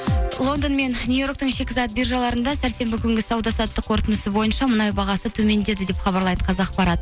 лондон мен нью йорктің шикізат биржаларында сәрсенбі күнгі сауда саттық қорытындысы бойынша мұнай бағасы төмендеді деп хабарлайды қазақпарат